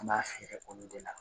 An b'a feere olu de la